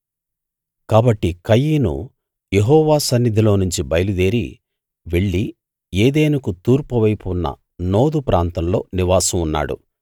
కాబట్టి కయీను యెహోవా సన్నిధిలోనుంచి బయలుదేరి వెళ్ళి ఏదెనుకు తూర్పువైపు ఉన్న నోదు ప్రాంతంలో నివాసం ఉన్నాడు